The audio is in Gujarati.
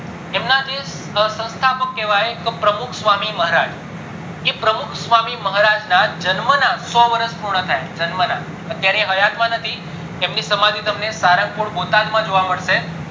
એમના જે સંસ્થાપક કેવાય તો પ્રમુખ સ્વામી મહારાજ કે પ્રમુખ સ્વામી ના જન્મ ના સો વર્ષ પૂર્ણ થયા છે અત્યારે હયાત માં નથી એમની સમાંથી તમને સારંગપુર બોટાદ માં જોવા મળશે